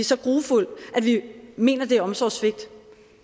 så grufuld at vi mener at det er omsorgssvigt